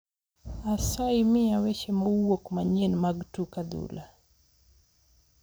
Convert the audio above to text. Asayi miya weche mowuok manyien mag tuk adhula